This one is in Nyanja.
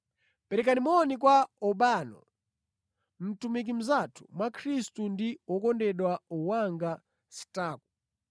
Perekani moni kwa Urbano, mtumiki mnzathu mwa Khristu ndi wokondedwa wanga Staku.